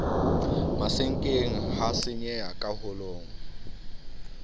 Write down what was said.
masenkeng ha senyeha ka holong